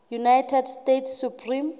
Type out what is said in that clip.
united states supreme